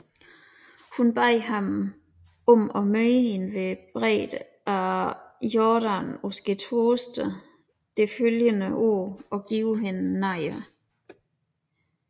Hun bad ham møde hende ved bredden af Jordan på skærtorsdag det følgende år og give hende nadver